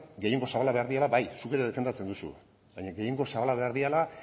gehiengo zabalak behar direla bai zuk ere defendatzen duzu baina gehiengo zabala behar direla